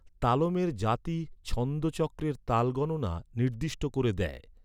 তালমের জাতি, ছন্দ চক্রের তাল গণনা নির্দিষ্ট করে দেয়।